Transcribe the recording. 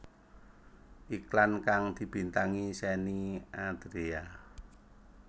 Iklan kang dibintangi Shenny Andrea